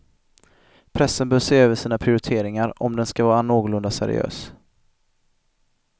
Pressen bör se över sina prioriteringar, om den skall vara någorlunda seriös.